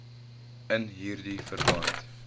in hierdie verband